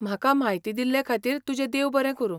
म्हाका म्हायती दिल्लेखातीर तुजें देव बरें करूं.